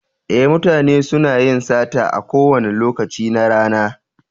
Ee, mutane suna yin sata a kowane lokaci na rana.